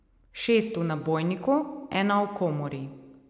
Šest v nabojniku, ena v komori.